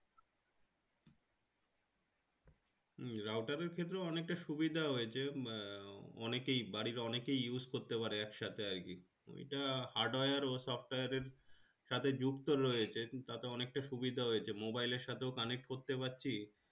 router এর ক্ষেত্রেও অনেকটা সুবিধা হয়েছে অনেকেই বাড়ির অনেকেই use করতে পারে একসাথে আরকি এটা hardware ও software এর সাথে যুক্ত রয়েছে তাতে অনেকটা সুবিধা হয়েছে mobile এর সাথেও connect করতে পারছি